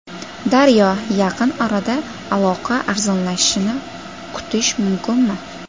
Daryo: Yaqin orada aloqa arzonlashishini kutish mumkinmi?